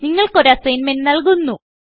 നിങ്ങൾക്ക് ഒരു അസ്സഗ്ന്മെന്റ്റ് നല്കുന്നു